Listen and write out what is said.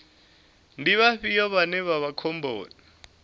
ndi vhafhio vhane vha vha khomboni